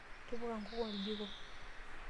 Tipika nkuk oljiko.